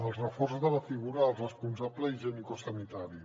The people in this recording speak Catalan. el reforç de la figura del responsable higienicosanitari